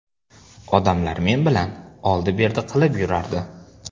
Odamlar men bilan oldi-berdi qilib yurardi.